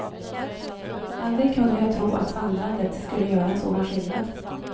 Aldrig kunde jag tro att vandrandet skulle göra en sådan skillnad.